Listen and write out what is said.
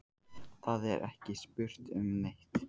Það er ekki spurt um neitt.